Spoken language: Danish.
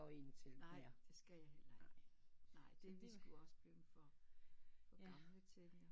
Nej det skal i i heller ikke det er sgu også blevet for ja